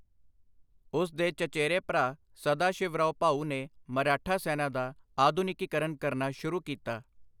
ਉਸ ਦੇ ਚਚੇਰੇ ਭਰਾ ਸਦਾ ਸ਼ਿਵਰਾਓ ਭਾਊ ਨੇ ਮਰਾਠਾ ਸੈਨਾ ਦਾ ਆਧੁਨਿਕੀਕਰਨ ਕਰਨਾ ਸ਼ੁਰੂ ਕੀਤਾ।